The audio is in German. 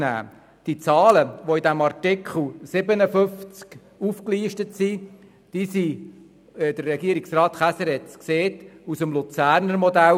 Die Zahlen, die im Artikel 57 aufgelistet sind, basieren, wie Regierungsrat Käser gesagt hat, auf dem Luzerner Modell.